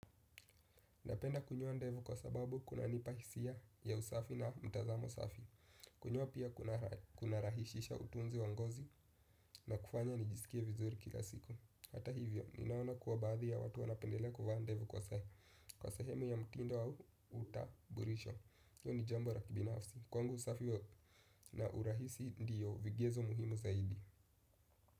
Napenda kunyoa ndevu kwa sababu kunanipa hisia ya usafi na mtazamo safi, kunyoa pia kunarahishisha utunzi wa ngozi na kufanya nijisikie vizuri kila siku. Hata hivyo, ninaona kuwa baadhi ya watu wanapendelea kuvaa ndevu kwa sehemu ya mtindo wa utambulisho. Hiyo ni jambo la kibinafsi, kwangu usafi na urahisi ndiyo vigezo muhimu zaidi.